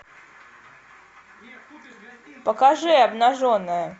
покажи обнаженная